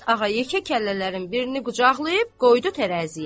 Karapet ağa yekə kəllələrin birini qucaqlayıb qoydu tərəziyə.